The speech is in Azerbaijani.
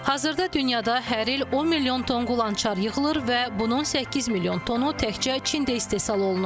Hazırda dünyada hər il 10 milyon ton qulançar yığılır və bunun 8 milyon tonu təkcə Çində istehsal olunur.